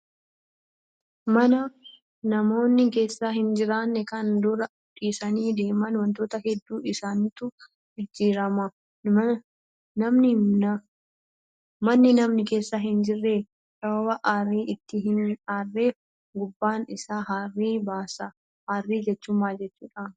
Mana namoonni keessa hin jiraanne kan dur dhiisanii deeman wantoota hedduu isaatu jijjiirama. Manni namni keessa hin jirre sababa aarri itti hin aarreef gubbaan isaa harrii baasa. Harrii jechuun maal jechuudhaa?